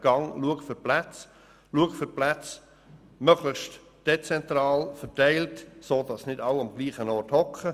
Halten Sie Ausschau nach Plätzen, suchen Sie nach dezentral verteilten Plätzen, sodass nicht alle am gleichen Ort sind.